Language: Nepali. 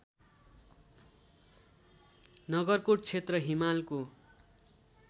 नगरकोट क्षेत्र हिमालको